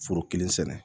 Foro kelen sɛnɛ